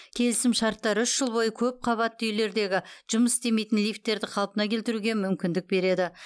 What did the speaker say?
келісімшарттар үш жыл бойы көп қабатты үйлердегі жұмыс істемейтін лифттерді қалпына келтіруге мүмкіндік береді